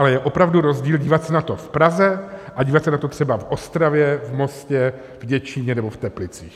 Ale je opravdu rozdíl dívat se na to v Praze a dívat se na to třeba v Ostravě, v Mostě, v Děčíně nebo v Teplicích.